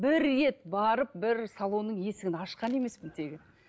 бір рет барып бір салонның есігін ашқан емеспін тегі